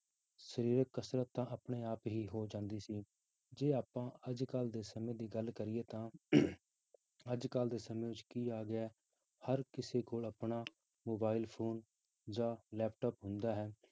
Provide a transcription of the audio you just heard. ਸਰੀਰਕ ਕਸ਼ਰਤ ਤਾਂ ਆਪਣੇ ਆਪ ਹੀ ਹੋ ਜਾਂਦੀ ਸੀ ਜੇ ਆਪਾਂ ਅੱਜ ਕੱਲ੍ਹ ਦੇ ਸਮੇਂ ਦੀ ਗੱਲ ਕਰੀਏ ਤਾਂ ਅੱਜ ਕੱਲ੍ਹ ਦੇ ਸਮੇਂ ਵਿੱਚ ਕੀ ਆ ਗਿਆ ਹੈ ਹਰ ਕਿਸੇ ਕੋਲ ਆਪਣਾ mobile phone ਜਾਂ laptop ਹੁੰਦਾ ਹੈ